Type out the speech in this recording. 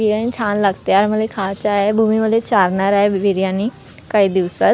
बिर्याणी छान लागते आणि मला हे खायचं आहे भूमी मले चारणार आहे बिर्याणी काही दिवसात.